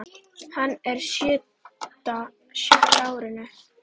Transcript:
Hann er á sjötta árinu.